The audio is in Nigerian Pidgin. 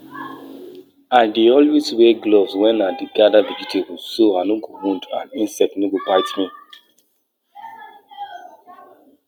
no too dig ground deep wen e dey wet so dat di soil structure no go spoil and e no go too hard